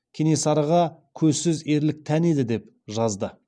кенесарыға көзсіз ерлік тән еді деп жазды